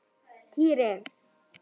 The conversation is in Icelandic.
Týri!